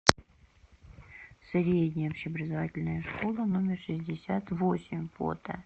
средняя общеобразовательная школа номер шестьдесят восемь фото